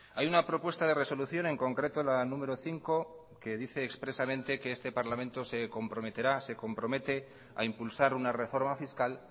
hay una propuesta de resolución en concreto la número cinco que dice expresamente que este parlamento se comprometerá se compromete a impulsar una reforma fiscal